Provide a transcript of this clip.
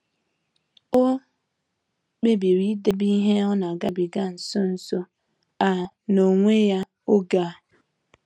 Ọ kpebiri idebe ihe o nagabiga nso nso a n'onwe ya oge a.